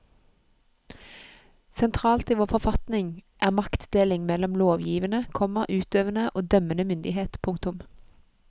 Sentralt i vår forfatning er maktdelingen mellom lovgivende, komma utøvende og dømmende myndighet. punktum